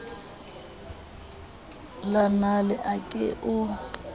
la nale a ke o